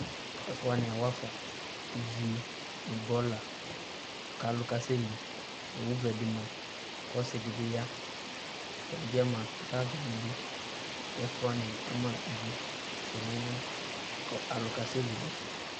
Ɛfʋ wanɩ awafa, ivi nʋ bɔla kʋ alʋ kasɛ li Owu vɛ dɩ ma, kʋ ɔsɩ dɩ bɩ ya, ɛdɩ bɩ ma kʋ aɣakelidʋ kʋ ɛfʋ wanɩ ama ivi sɔŋ kʋ alʋ kasɛ li nʋ ɛfɛ